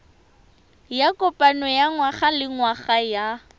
ya kopano ya ngwagalengwaga ya